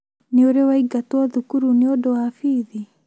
Nĩ ũrĩ waingatw thukuru nĩũndũ wa bithi?